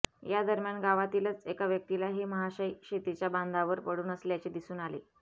या दरम्यान गावातीलच एका व्यक्तीला हे महाशय शेतीच्या बांधावर पडून असल्याचे दिसून आले